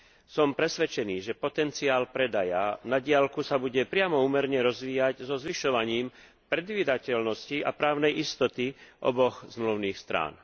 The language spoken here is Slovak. Som presvedčený, že potenciál predaja na diaľku sa bude priamo úmerne rozvíjať so zvyšovaním predvídateľnosti a právnej istoty oboch zmluvných strán.